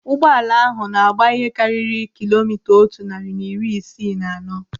Ụgbọala ahụ na-agba ihe karịrị kilomita otu narị na iri isii na anọ.